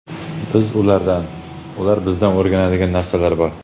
Biz ulardan, ular bizdan o‘rganadigan narsalar bor.